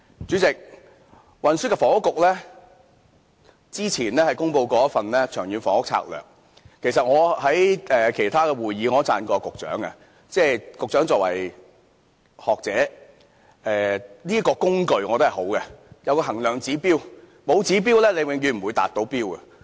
主席，運輸及房屋局之前公布了一份《長遠房屋策略》，其實，我在其他會議上稱讚過局長，局長作為學者，我覺得這個工具是好的，有衡量指標，沒有指標便永遠無法達標。